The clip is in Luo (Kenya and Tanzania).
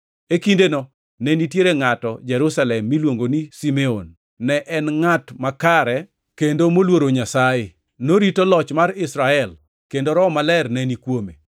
E kindeno ne nitiere ngʼato Jerusalem miluongo ni Simeon, ne en ngʼat makare kendo moluoro Nyasaye. Norito loch mar Israel, kendo Roho Maler neni kuome.